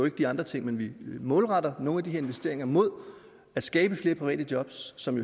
ikke de andre ting men vi målretter nogle af de her investeringer mod at skabe flere private jobs som